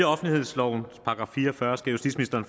offentlighedslovens § fire og fyrre skal justitsministeren